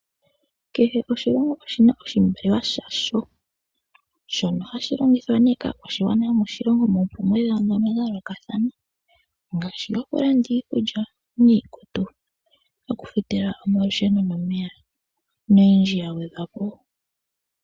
Kehe oshilongo oshi na oshimaliwa shasho, shono hashi longithwa nee kaa kwashi gwana yo moshilongo mono, momi kalo dha yoolokathana ngaashi okulanda iikudja niikutu, oku futila oma lusheno no meya noyindji ya gwedhwa po.